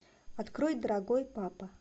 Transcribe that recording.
открой дорогой папа